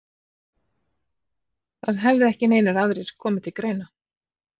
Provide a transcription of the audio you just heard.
Það hefði ekki neinir aðrir komið til greina?